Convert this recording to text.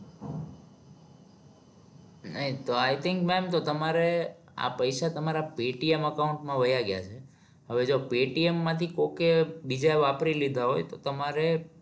નહિ તો I think ma'am તો તમારે આ પૈસા તમારા paytm account માં વહ્યા ગયા છે હવે જો paytm માંથી કોકે બીજા એ વાપરી લીધા હોય તો તમારે